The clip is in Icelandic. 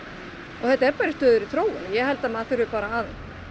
og þetta er bara í stöðugri þróun ég held að maður þurfi bara að